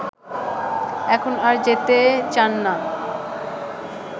এখন আর যেতে চান না